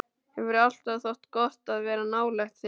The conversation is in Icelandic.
Hefur alltaf þótt gott að vera nálægt þér.